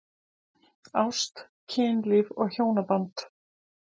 Ást, kynlíf og hjónaband